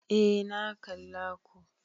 Eh na kalla ko